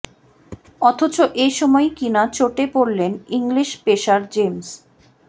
অথচ এ সময়েই কিনা চোটে পড়লেন ইংলিশ পেসার জেমস